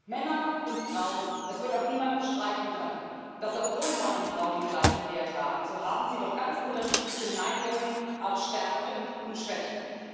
Männer und Frauen es wird auch niemand bestreiten können, dass obwohl Mann und Frau den gleichen Wert haben, sie doch ganz unterschiedliche Neigungen haben, auch Stärken und Schwächen.